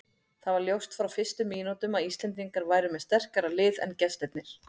Það var ljóst frá fyrstu mínútum að Íslendingar væru með sterkara lið en gestirnir.